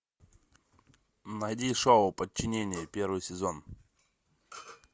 найди шоу подчинение первый сезон